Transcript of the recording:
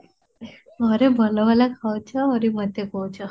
ଘରେ ଭଲ ଭଲ ଖାଉଛ ଆହୁରି ମତେ କହୁଛ